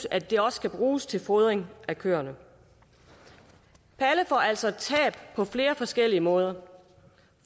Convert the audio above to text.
at det også kan bruges til fodring af køerne palle får altså et tab på flere forskellige måder